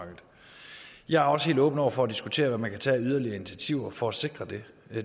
jeg er også helt åben over for at diskutere hvad man kan tage af yderligere initiativer for at sikre det